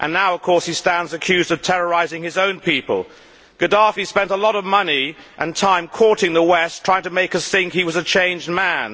Now, of course, he stands accused of terrorising his own people. Gaddafi spent a lot of money and time courting the West, trying to make us think he was a changed man.